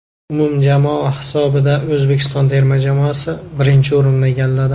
Umumjamoa hisobida O‘zbekiston terma jamoasi birinchi o‘rinni egalladi.